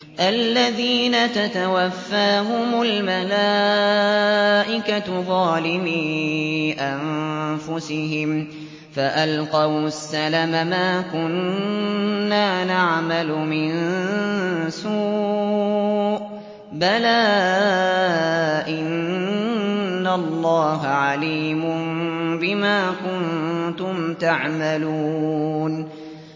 الَّذِينَ تَتَوَفَّاهُمُ الْمَلَائِكَةُ ظَالِمِي أَنفُسِهِمْ ۖ فَأَلْقَوُا السَّلَمَ مَا كُنَّا نَعْمَلُ مِن سُوءٍ ۚ بَلَىٰ إِنَّ اللَّهَ عَلِيمٌ بِمَا كُنتُمْ تَعْمَلُونَ